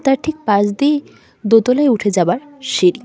তার ঠিক পাশ দিয়েই দোতলায় উঠে যাওয়ার সিঁড়ি।